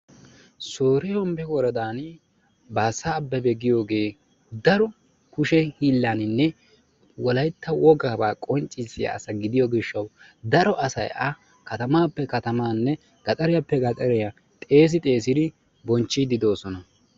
Soore hombbe woradaani baassa abebe giyooge daro kushe hiillaaninne wolaytta wogaabaa qonccissiya asa gidiyo gishshawu daro asayi a katamaappe katamaanne gaxariyappe gaxariya xeesi xeesi bonchchiiddi de"oosona.